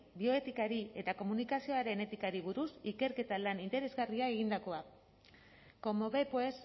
bioetikari eta komunikazioaren etikari buruz ikerketa lan interesgarria egindakoa como ve pues